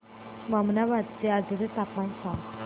ममनाबाद चे आजचे तापमान सांग